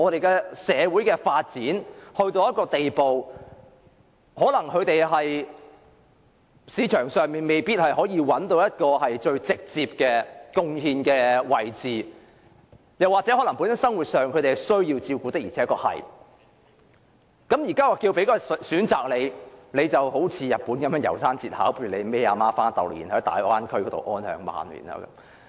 當社會發展到一個地步，有一些人在市場上未必找到直接作出貢獻的位置，又或他們生活上需要照顧，於是政府便給他們一個選擇，好像日本的《楢山節考》般，帶母親到大灣區安享晚年。